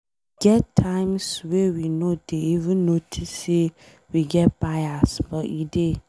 E get times wey we no dey even notice say we get bias but e dey.